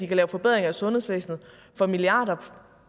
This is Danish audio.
kan lave forbedringer i sundhedsvæsenet for milliarder